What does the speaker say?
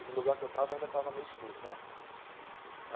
E no lugar que eu estava, ainda estava meio escuro, né?